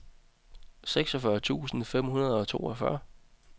seksogfyrre tusind fem hundrede og toogfyrre